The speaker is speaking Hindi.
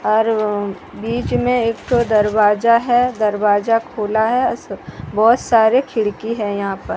और बीच में एक ठो दरवाजा है दरवाजा खुला है बहुत सारे खिड़की हैं यहां पर।